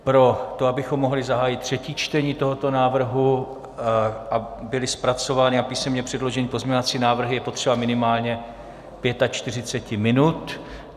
Pro to, abychom mohli zahájit třetí čtení tohoto návrhu a byly zpracovány a písemně předloženy pozměňovací návrhy, je potřeba minimálně pětačtyřiceti minut.